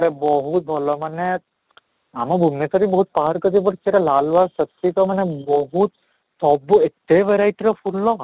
ଇଟା ବହୁତ ଭଲ ମାନେ ଆମ ଭୁବନେଶ୍ୱର ରେ ବି ବହୁତ ପାହାଡ଼ ପଡିଛି ସେଇଟା ଲାଲବାକସି ମାନେ ବହୁତ ସବୁ ଏତେ verity ର ଫୁଲ